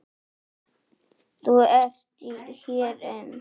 Þú ert hér enn!